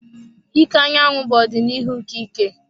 Ike anyanwụ bụ ọdịnihu nke ike.